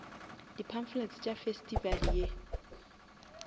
di pamphlets tša festival ye